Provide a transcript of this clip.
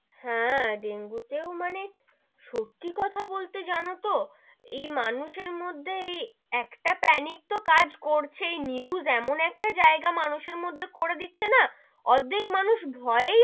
হেঁ, ডেঙ্গু তেওঁ মানে, সত্যি কথা বলতে যেন তো এই মানুষের মধ্যে এই একটা panic তো কাজ করছেই news এমন একটা জায়গা মানুষের মধ্যে করে দিচ্ছে না, অর্ধেক মানুষ ভয়েই,